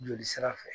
Joli sira fɛ